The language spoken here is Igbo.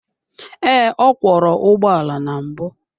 Ee, ọ kwọro ụgbọala na mbụ.